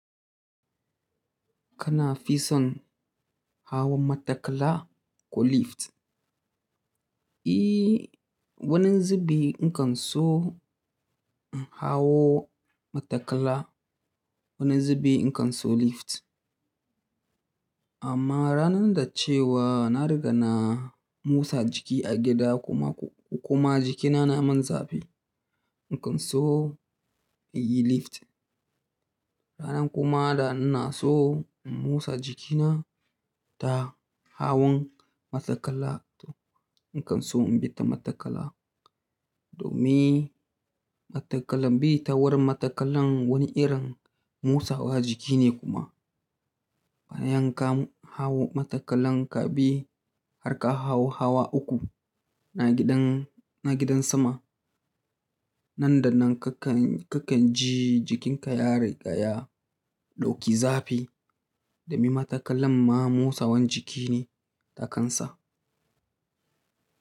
Kana fisan hawan matakala ko lift? Eh wani zubin in kan so in hau matakala, wani zubi in kan so in hau lift. Amma ranan da cewa na riga na motsa jiki a gida kuma, kuma jikina na min zafi, in kan so in yi lift. Ranan kuma da ina so in motsa jiki na ta hawan matakala in kan so in bi ta matakala. Domin matakalan bi ta wurin matakalan wani irin motsawa jiki ne kuma. Fana yanka hawo matakalan ka bi har ka hawo hawa uku na gidan, na gidan sama. Nan da nan kakan, kakan ji jikinka ya riga ya ɗauki zafi domin matakalan ma motsawan jiki ne takansa.